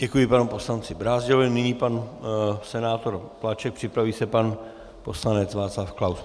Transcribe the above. Děkuji panu poslanci Brázdilovi, nyní pan senátor Plaček, připraví se pan poslanec Václav Klaus.